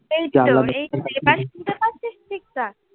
এই তো, এখানে শুনতে পাচ্ছিস ঠিক ঠাক।